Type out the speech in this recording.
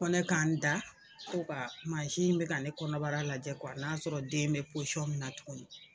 Ko ne k'an da ko ka mansin bɛ ka ne kɔnɔbara lajɛ kuwa aa y'a sɔrɔ den bɛ pɔsiyɔn m minna tuguni.